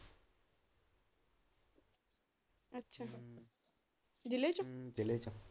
ਜਿਲ੍ਹੇ ਚੋ ਜਿਲ੍ਹੇ ਚੋ?